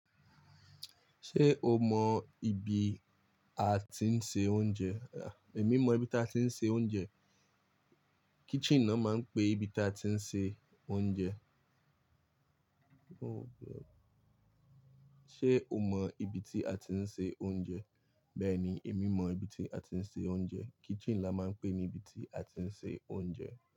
Ṣé o mọ ibi a ti ń se oúnjẹ? Èmi mọ ibi tí a ti ń se oúnjẹ. Kitchen ni wọ́n máa ń pè ibi tí a ti ń se oúnjẹ ṣé o mọ ibi tí a ti ni se oúnjẹ. Bẹ́ẹ̀ni, èmi mọ ibi tí a ti ń se oúnjẹ. Kitchen la máa ń pè ní ibi tí a ti ń se oúnjẹ.